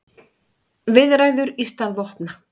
Viðræður í stað vopna